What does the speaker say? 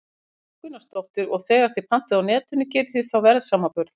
Erla Björg Gunnarsdóttir: Og þegar þið pantið á Netinu, gerið þið þá verðsamanburð?